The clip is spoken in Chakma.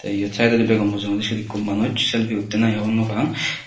eyot saidodi bego mujungendi siot ekko manuj selfi uttey nahi hobor nopang.